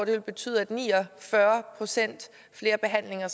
betyde at ni og fyrre procent flere behandlinger